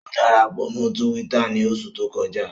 O darapọ mọ Túwìtá ni oṣu to kọja